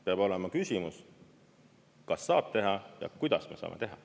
Peab olema küsimus, kas saab teha ja kuidas me saame teha.